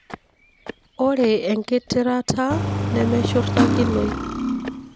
ore engitirata nemeshurtakinoi.